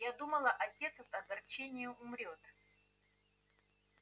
я думала отец от огорчения умрёт